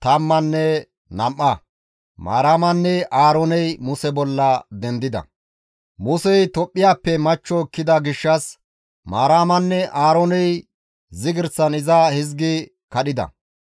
Musey Tophphiyappe machcho ekkida gishshas Maaramanne Aarooney zigirsan iza hizgi kadhida,